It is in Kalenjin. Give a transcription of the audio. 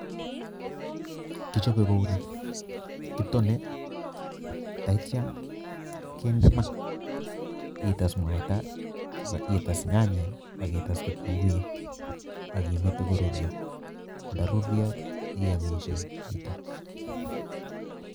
Kichope kouni kitone ak ityok kende maa ites muaita, ites nyanyik ak ites kitumguik ak imete koruryo ndoruryo iomishe chito.